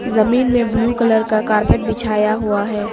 जमीन में blue colour का कारपेट बिछाया हुआ है।